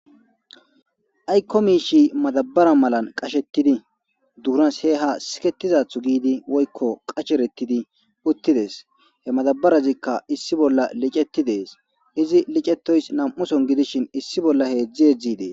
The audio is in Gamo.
Ayko miishi madabare malan qashetidi duunan siha sikethidaatho giidi woyko qacheretidi uthides he madabarezika issi bolla licetides izi licetoyka nam'u sohon gidishin issi bola heezi heezi dees.